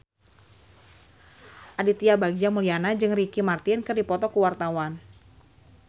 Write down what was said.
Aditya Bagja Mulyana jeung Ricky Martin keur dipoto ku wartawan